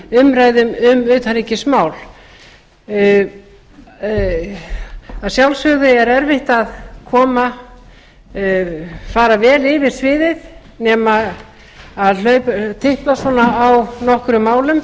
tileinkaðan umræðum um utanríkismál að sjálfsögðu er erfitt að fara vel yfir sviðið nema að tipla svona á nokkrum málum